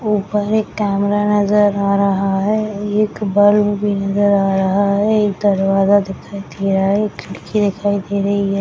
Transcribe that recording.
ऊपर एक कैमरा नजर आ रहा है एक बल्ब भी नजर आ रहा है एक दरवाजा दिखाई दे रहा है एक खिड़की दिखाई दे रही है।